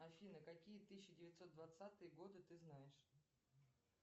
афина какие тысяча девятьсот двадцатые годы ты знаешь